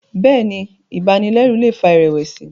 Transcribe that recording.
Béèni ibanilẹru lè fà irẹwẹsi.